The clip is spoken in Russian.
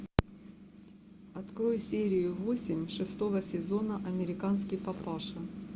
открой серию восемь шестого сезона американский папаша